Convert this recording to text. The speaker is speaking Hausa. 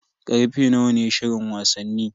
Karfe nawa ne shirin wasanni?